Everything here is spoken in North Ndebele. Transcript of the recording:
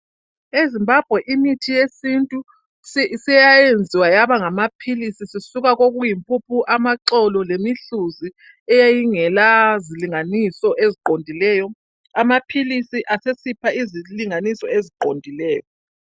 EZimbabwe imithi yesintu seyayenziwa yaba ngamaphilisi. sisika kokuyimpuphu. Amaxolo lemihluzi eyayingela zilinganiso eziqondileyo. Amaphilisi asesipha izilinganiso eziqondileyo.